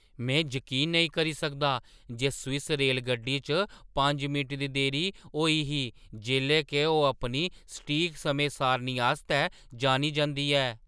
में जकीन नेईं करी सकदा जे स्विस रेलगड्डी च पंज मिंट दी देरी होई ही जेल्लै के ओह् अपनी सटीक समें सारणी आस्तै जानी जंदी ऐ।